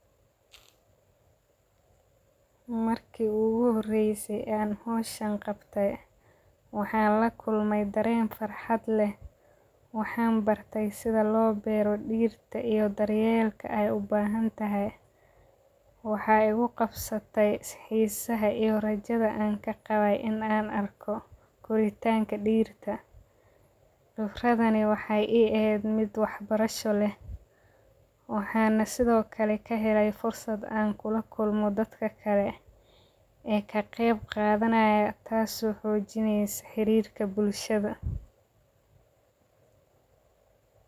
Marki igu horeyse ee an howshan qabtay, waxan lakulmay daren farxad leh, waxan barte sitha lo bero dirtaa iyo daryelka ee u bahantahay, waxaa igu qabsatee xisaha iyo rajadaa an kaqawey in an arko koritanka dirtaa, fikradani mexey I ehed miid wax barasho leh, waxana sitho kalee kahelay fursaad an kula kulmo dadka kalee, ee ka qeeb qadhanaya taso xojinayaa xirirka bulshadha.